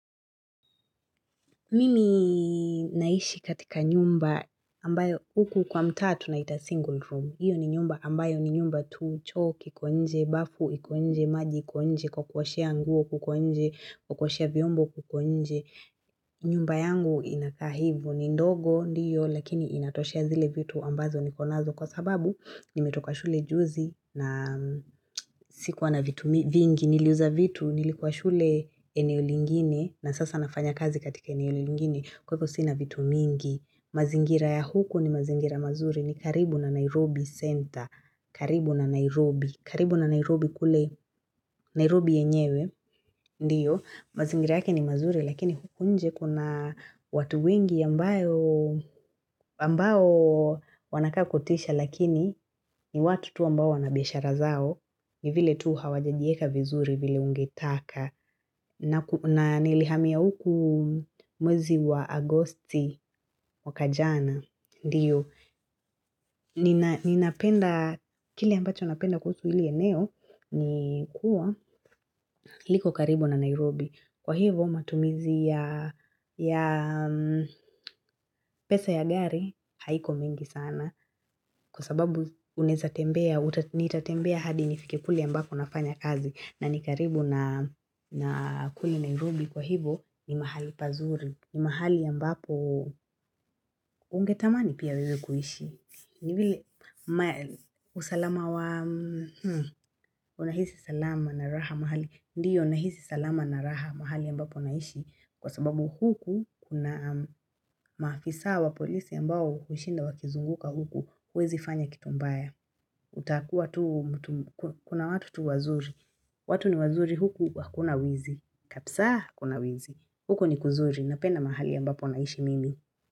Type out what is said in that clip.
Mimi naishi katika nyumba ambayo huku kwa mtaa tunaita single room. Hiyo ni nyumba ambayo ni nyumba tu, choo kiko nje, bafu iko nje, maji iko nje, kwa kuoshea nguo kuko nje, kwa kuoshea vyombo kuko nje. Nyumba yangu inakaa hivyo, ni ndogo ndiyo lakini inatoshea zile vitu ambazo nikonazo, kwa sababu nimetoka shule juzi na sikuwa na vitu vingi. Niliuza vitu, nilikuwa shule eneo lingine, na sasa nafanya kazi katika eneo lingine, kwa hivyo sina vitu mingi. Mazingira ya huku ni mazingira mazuri, ni karibu na Nairobi Center. Karibu na Nairobi. Karibu na Nairobi kule Nairobi yenyewe. Ndiyo, mazingira yake ni mazuri lakini huku nje kuna watu wengi ambao wanakaa kutisha lakini ni watu tu ambao wana biashara zao. Ni vile tu hawajajiweka vizuri vile ungetaka, na nilihamia huku mwezi wa Agosti mwaka jana Ndiyo, ninapenda, kile ambacho napenda kuhusu hili eneo, ni kuwa liko karibu na Nairobi, kwa hivyo matumizi ya ya pesa ya gari haiko mingi sana, kwa sababu unaweza tembea, nitatembea hadi nifike kule ambako nafanya kazi, na ni karibu na kule Nairobi kwa hivyo ni mahali pazuri. Ni mahali ambapo ungetamani pia wewe kuishi. Ni vile usalama wa Unahisi salama na raha mahali. Ndiyo unahisi salama na raha mahali ambapo naishi. Kwa sababu huku kuna maafisa wa polisi ambao hushinda wakizunguka huku. Huwezifanya kitu mbaya. Utakuwa tu kuna watu tu wazuri. Watu ni wazuri huku hakuna wizi, kabisa hakuna wizii, huku ni kuzuri napenda mahali ambapo naishi mimi.